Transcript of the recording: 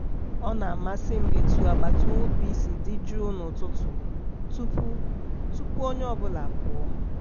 ọ na-amasị m etu agbata obi sị adị jụụ n'ụtụtụ tupu tupu onye ọbụla apụọ.